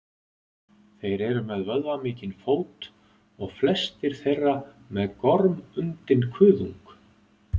þeir eru með vöðvamikinn fót og flestir þeirra með gormundinn kuðung